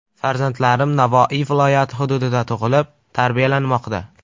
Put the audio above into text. Farzandlarim Navoiy viloyati hududida tug‘ilib, tarbiyalanmoqda.